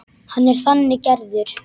Hann er þannig gerður.